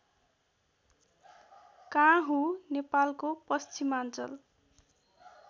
काँहु नेपालको पश्चिमाञ्चल